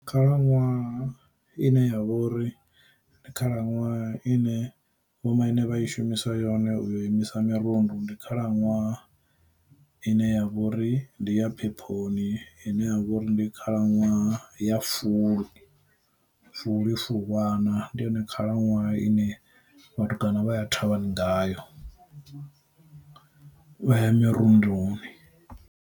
Khalaṅwaha ine ya vha uri ndi khalaṅwaha ine vhomaine vha i shumisa yone u imisa mirundu, ndi khalaṅwaha ine ya vha uri ndi ya phephoni ine ya vhori ndi khalaṅwaha ya fulwi, fulwi fulwana ndi yone khalaṅwaha ine vhatukana vha ya thavhani ngayo vhaya mirunduni.